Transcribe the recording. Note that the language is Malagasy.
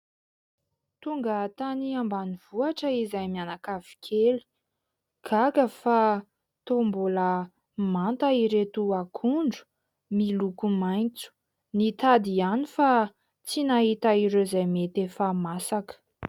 Tonga tany ambanivohitra izahay mianakavy kely, gaga fa toa mbola manta ireto akondro, miloko maintso ; nitady ihany fa tsy nahita ireo izay mety efa masaka.